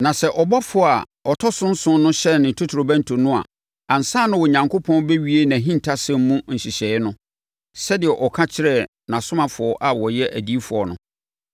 Na sɛ ɔbɔfoɔ a ɔtɔ so nson no hyɛne ne totorobɛnto no a ansa na Onyankopɔn bɛwie nʼahintasɛm mu nhyehyɛeɛ no, sɛdeɛ ɔka kyerɛɛ nʼasomfoɔ a wɔyɛ adiyifoɔ no.”